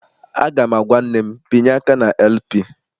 Aga m agwa nne m, binye aka na LP!